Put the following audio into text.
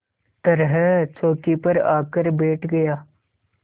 तरह चौकी पर आकर बैठ गया